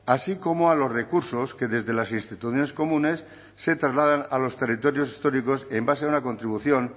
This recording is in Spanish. así como a los recursos que desde las instituciones comunes se trasladan a los territorios históricos en base a una contribución